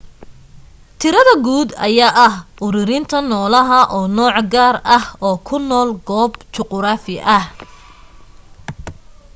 tirada guud ayaa ah uruurinta noolaha oo nooc gaar ah oo ku nool goob juquraafi ah